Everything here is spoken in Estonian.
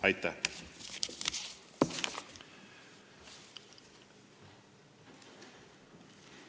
Aitäh!